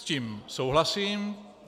S tím souhlasím.